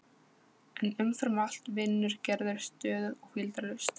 En umfram allt vinnur Gerður stöðugt og hvíldarlaust.